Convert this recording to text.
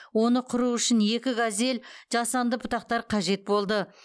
оны құру үшін екі газель жасанды бұтақтар қажет болды